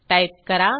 type करा